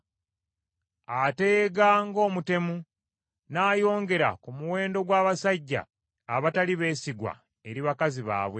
Ateega ng’omutemu, n’ayongera ku muwendo gw’abasajja abatali beesigwa eri bakazi baabwe.